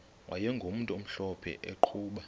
wayegumntu omhlophe eqhuba